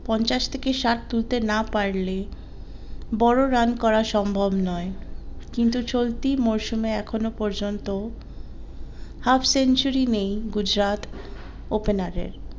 পঞ্চাশ থেকে ষাট তুলতে না পারলে বড়ো রান করা সম্ভব নয় কিন্তু চলতি মরসুমে এখনো পর্যন্ত half century নেই গুজরাট opener এর